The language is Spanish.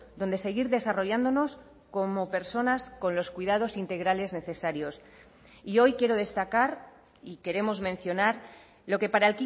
donde seguir desarrollándonos como personas con los cuidados integrales necesarios y hoy quiero destacar y queremos mencionar lo que para